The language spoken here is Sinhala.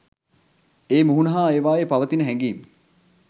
ඒ මුහුණ හා ඒවායේ පවතින හැඟීම්